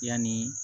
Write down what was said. Yani